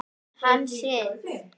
Hann sitt.